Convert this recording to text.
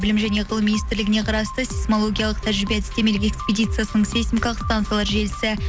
білім және ғылым министрлігіне қарасты сейсмологиялық тәжірибе әдістемелік экиспидияциясын сейсмикалық станциялар желісі